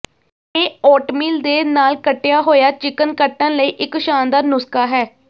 ਇਹ ਓਟਮੀਲ ਦੇ ਨਾਲ ਕੱਟਿਆ ਹੋਇਆ ਚਿਕਨ ਕੱਟਣ ਲਈ ਇੱਕ ਸ਼ਾਨਦਾਰ ਨੁਸਖਾ ਹੈ